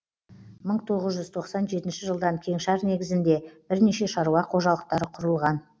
мың тоғыз жүз тоқсан жетінші жылдан кеңшар негізінде бірнеше шаруа қожалықтары құрылған